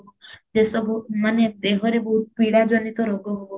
ଏସବୁ ମାନେ ଦେହରେ ବହୁତ ପୀଡା ଜନିତ ରୋଗ ହବ